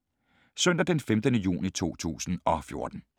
Søndag d. 15. juni 2014